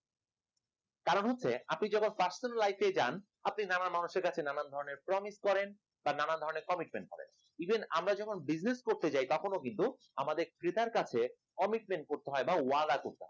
কারণ হচ্ছে আপনি যখন personal life যান আপনি নানার মানুষের কাছে নানান ধরনের promise করেন বা নানান ধরনের commitment করেন even আমরা যখন business করতে চাই তখনও কিন্তু আমাদের ক্রেতার কাছে commitment করতে হয় বা ওয়াদা করতে হয়